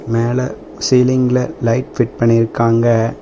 மேல சீலிங்ல light fit பண்ணிருக்காங்க.